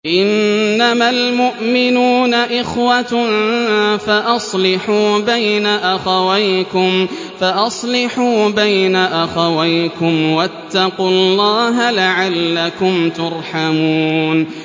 إِنَّمَا الْمُؤْمِنُونَ إِخْوَةٌ فَأَصْلِحُوا بَيْنَ أَخَوَيْكُمْ ۚ وَاتَّقُوا اللَّهَ لَعَلَّكُمْ تُرْحَمُونَ